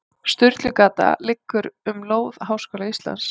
Sturlugata liggur um lóð Háskóla Íslands.